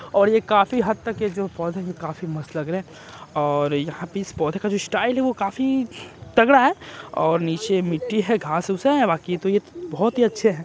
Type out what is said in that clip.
और ये काफी हद तक ये जो पौधे हैं काफी मस्त लग रहै है और यहाँ पे इस पौधे का जो स्टाइल है वो काफी तगड़ा है और निचे मिट्टी है घास उस है बाकि तो ये बहोत ही अच्छे हैं ।